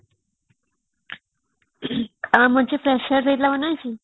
ଆଉ ଆମର ଯାଉ freshers ହେଇଥିଲା ମନେ ଅଛି